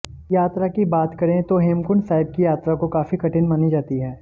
यात्रा की बात करें तो हेमकुंड साहिब की यात्रा को काफी कठिन मानी जाती है